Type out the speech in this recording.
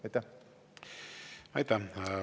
Aitäh!